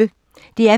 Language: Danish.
DR P1